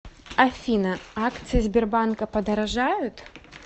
афина акции сбербанка подорожают